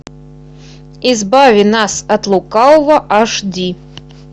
избави нас от лукавого аш ди